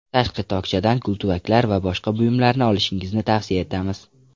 Tashqi tokchadan gultuvaklar va boshqa buyumlarni olishingizni tavsiya etamiz.